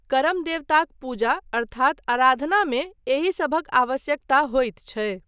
करम देवताक पूजा अर्थात आराधना मे एहिसभक आवश्यकता होइत छै।